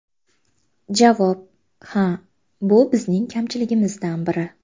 Javob: Ha, bu bizning kamchiligimizdan biri.